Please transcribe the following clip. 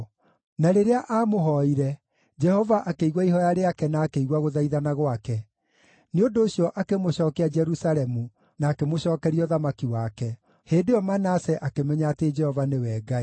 Na rĩrĩa aamũhooire, Jehova akĩigua ihooya rĩake na akĩigua gũthaithana gwake; nĩ ũndũ ũcio, akĩmũcookia Jerusalemu na akĩmũcookeria ũthamaki wake. Hĩndĩ ĩyo Manase akĩmenya atĩ Jehova nĩwe Ngai.